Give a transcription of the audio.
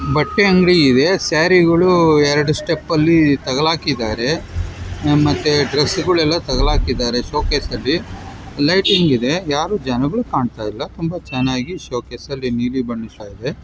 ಬಟ್ಟೆ ಅಂಗಡಿ ಇದೆ.ಸಾರೀಗಳು ಎರಡು ಸ್ಟೆಪ್ ಅಲ್ಲಿ ತಗಲಕ್ ಇದ್ದಾರೆ ಮತ್ತೆ ಡ್ರೆಸ್ ಗಳೆಲ್ಲ ತಗಲಕ್ ಇದ್ದಾರೆ ಶೋಕೇಸಲ್ಲಿ ಲೈಟಿಂಗ್ ಇದೆ ಯಾರು ಜನಗಳು ಕಾಣಿಸ್ತಾ ಇಲ್ಲ ಚೆನ್ನಾಗಿ ಶೋಕೇಸಲ್ಲಿ ನೀಲಿ ಕಾಣಿಸ್ತಾ ಇದೆ .